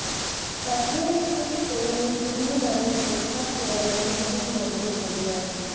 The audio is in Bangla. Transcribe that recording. কাশ্মীরি শিখ তরুণী কিডনি দানের প্রস্তাব ফেরাল মুসলিম বন্ধুর পরিবার